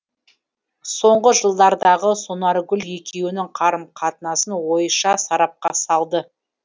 соңғы жылдардағы сонаргүл екеуінің қарым қатынасын ойша сарапқа салды